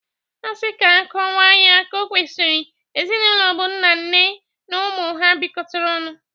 Asị ka akọwa ya ka o kwesiri, ezinaụlọ bụ nna, nne na ụmụ ha bịkọtara ọnụ.